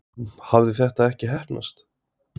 Hafði þetta ekki heppnast?